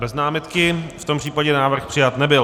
Bez námitky, v tom případě návrh přijat nebyl.